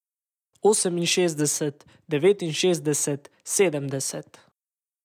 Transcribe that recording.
Oseminšestdeset, devetinšestdeset, sedemdeset.